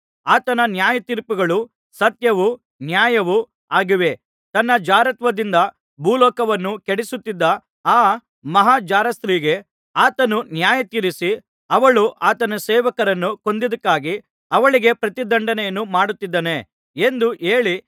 ಆತನ ನ್ಯಾಯತೀರ್ಪುಗಳು ಸತ್ಯವೂ ನ್ಯಾಯವೂ ಆಗಿವೆ ತನ್ನ ಜಾರತ್ವದಿಂದ ಭೂಲೋಕವನ್ನು ಕೆಡಿಸುತ್ತಿದ್ದ ಆ ಮಹಾ ಜಾರಸ್ತ್ರೀಗೆ ಆತನು ನ್ಯಾಯತೀರಿಸಿ ಅವಳು ಆತನ ಸೇವಕರನ್ನು ಕೊಂದದ್ದಕ್ಕಾಗಿ ಅವಳಿಗೆ ಪ್ರತಿದಂಡನೆಯನ್ನು ಮಾಡಿದ್ದಾನೆ ಎಂದು ಹೇಳಿ